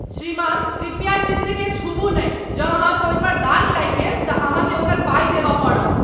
श्रीमान, कृपया चित्रकेँ छूबू नहि! जँ अहाँसँ ओहिपर दाग लागि गेल तँ अहाँकेँ ओकर पाइ देबय पड़त।